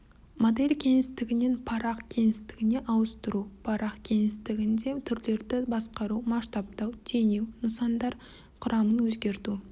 модель кеңістігінен парақ кеңістігіне ауыстыру парақ кеңістігінде түрлерді басқару масштабтау теңеу нысандар құрамын өзгерту